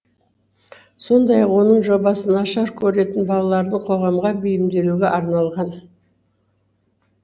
сондай ақ оның жобасы нашар көретін балаларды қоғамға бейімделуге арналған